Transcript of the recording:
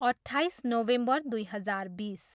अट्ठाइस नोभेम्बर दुई हजार बिस।